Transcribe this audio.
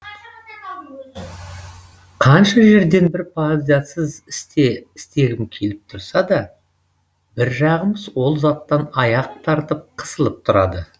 қанша жерден бір пайдасыз істе істегім келіп тұрса да бір жағым ол заттан аяқ тартып қысылып тұрады